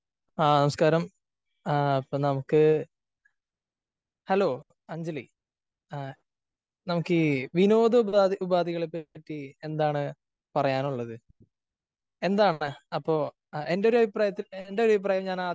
ആ നമസ്കാരം. ആ അപ്പോ നമുക്ക് ഹലോ അഞ്ജലി നമുക്കീ വിനോദ ഉപാധികളെ പറ്റി എന്താണ് പറയാനുള്ളത് ? എന്താണ് അപ്പോ എന്റെ ഒരു അഭിപ്രായത്തില് എന്റെ അഭിപ്രായം